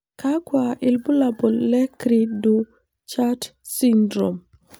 Kakwa ibulabul le cri du chat syndrome?